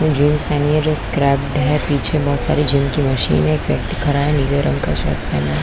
--Jeans पहनी हुई है जो स्क्रेप्पेड है पीछे बहुत सारी जिम की मशीन है एक व्यक्ति खड़ा है नीले रंग की शर्ट पहना है।